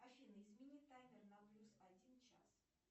афина измени таймер на плюс один час